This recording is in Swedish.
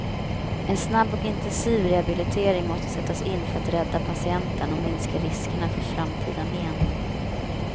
En snabb och intensiv rehabilitering måste sättas in för att rädda patienten och minska riskerna för framtida men.